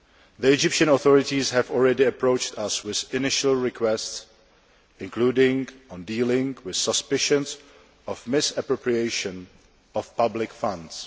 The Egyptian authorities have already approached us with initial requests, including on dealing with suspicions of the misappropriation of public funds.